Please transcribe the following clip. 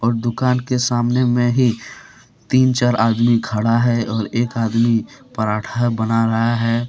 दुकान के सामने में ही तीन चार आदमी खड़ा है और एक आदमी परांठा बना रहा है।